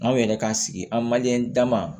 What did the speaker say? An yɛrɛ k'an sigi an manden dama